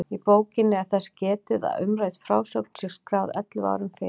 Í bókinni er þess getið að umrædd frásögn sé skráð ellefu árum fyrr.